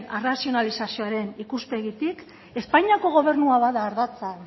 arrazionalizazioaren ikuspegitik espainiako gobernua bada ardatza